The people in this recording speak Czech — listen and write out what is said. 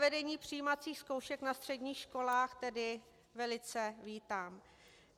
Zavedení přijímacích zkoušek na středních školách tedy velice vítám.